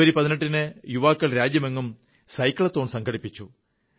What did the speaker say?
ജനുവരി 18 ന് യുവാക്കൾ രാജ്യമെങ്ങും സൈക്ലത്തോൺ സംഘടിപ്പിച്ചു